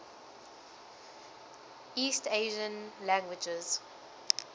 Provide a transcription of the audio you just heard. east asian languages